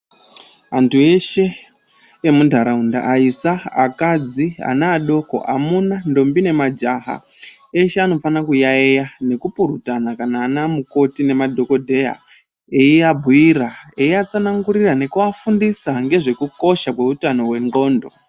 Antu eshe emunharaunda aisa, akadzi ,ana adoko, amuna , ndombi nemajaha eshe anofanira kuyaiya nokupurutana kana ana mukoti nemadhokodheya, eiabhuira , eiatsanangurira nekuafundisa ngezvekukosha kwezvehutano hwendxondo.